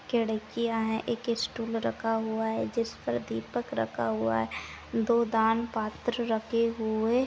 खिड़कियां है एक स्टुल रखा हुआ है जिस पर दीपक रखा हुआ है दो दान पात्र रखे हुए--